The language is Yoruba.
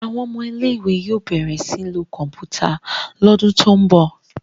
Àwọn ọmọ ilé ìwé yóò bẹrẹ sìn ló Kọ̀ǹpútà l'ọdun to'n bọ.